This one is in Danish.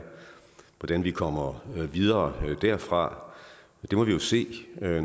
hvordan vi kommer videre derfra det må vi jo se når